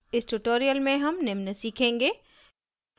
इस tutorial में हम निम्न सीखेंगे